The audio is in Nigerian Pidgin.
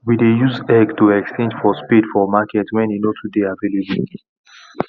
we dey use egg to exchange for spade for market wen e nor too dey available